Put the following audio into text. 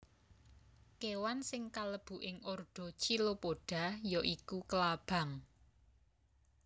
Kéwan sing kalebu ing ordo Chilopoda ya iku klabang